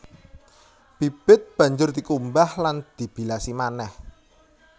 Bibit banjur dikumbah lan dibilasi manéh